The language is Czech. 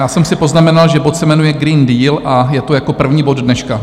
Já jsem si poznamenal, že bod se jmenuje Green Deal a je to jako první bod dneška.